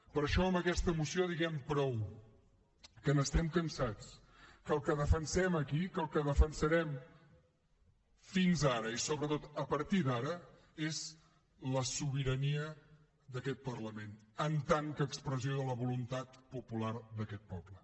per això amb aquesta moció diguem prou que n’estem cansats que el que defensem aquí que el que defensarem fins ara i sobretot a partir d’ara és la sobirania d’aquest parlament com a expressió de la voluntat popular d’aquest poble